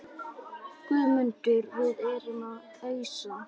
GUÐMUNDUR: Við erum að ausa.